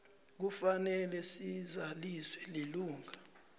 kufanele sizaliswe lilunga